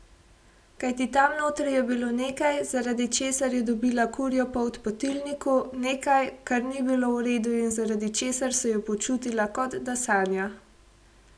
Kajti tam notri je bilo nekaj, zaradi česar je dobila kurjo polt po tilniku, nekaj, kar ni bilo v redu in zaradi česar se je počutila, kot da sanja.